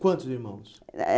Quantos irmãos? Eh eh